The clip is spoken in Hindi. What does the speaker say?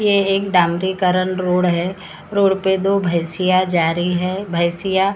ये एक डांडिकरण रोड है रोड पे दो भैंसिया जा रही है भैंसिया--